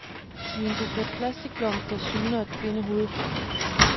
I en buket plastikblomster syner et kvindehoved frem.